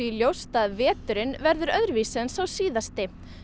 ljóst að veturinn verður öðruvísi en sá síðasti